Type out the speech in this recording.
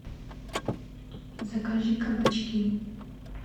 закажи кабачки